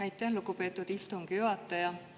Aitäh, lugupeetud istungi juhataja!